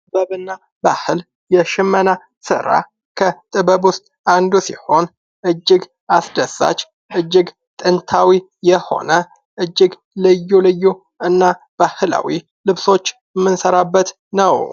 ጥበብና ባህል ይሽመና ስራ ከጥበብ ውስጥ አንዱ ሲሆን እጅግ አስደሳች እጅግ ጥንታዊ የሆነ እጅግ ልዩ ልዩ እና ባህላዊ ልብሶች ምንሰራበት ነው።